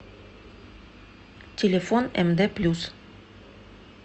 телефон мд плюс